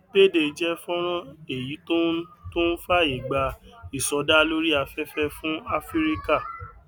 payday jẹ fọnrán owó èyí tó ń tó ń fàyè gba ìsọdá lórí afẹfẹ fún áfíríkà